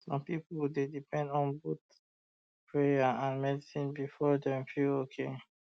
some people dey depend on both prayer um and medicine before um dem feel okay